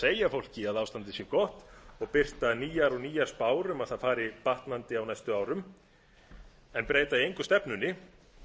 segja fólki að ástandið sé gott og birta nýjar og nýjar spár um að það fari batnandi á næstu árum en breyta engu stefnunni